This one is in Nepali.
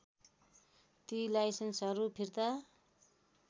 ती लाइसेन्सहरू फिर्ता